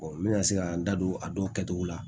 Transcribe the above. n bɛ ka se ka n da don a dɔw kɛcogo la